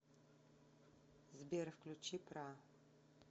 сбер включи пра